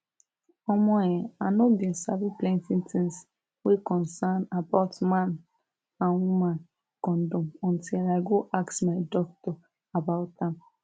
omo um i no bin sabi plenty tins wey concern about man and woman condoms until i go ask my doctor about am